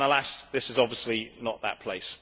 Alas, this is obviously not that place.